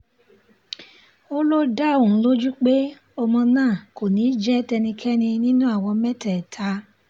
ó ló dá òun lójú pé ọmọ náà kò ní í jẹ́ tẹ́nikẹ́ni nínú àwọn mẹ́tẹ̀ẹ̀ta